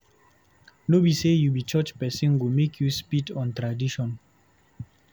No be sey you be church pesin go make you spit on top tradition.